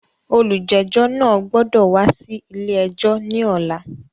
Olújẹ́jọ́ náà gbọ́dọ̀ wá sí ilé ẹjọ́ ní ọ̀la!